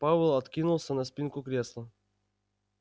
пауэлл откинулся на спинку кресла